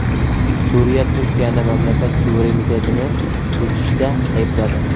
Suriya Turkiyani mamlakat suverenitetini buzishda aybladi.